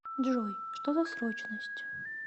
джой что за срочность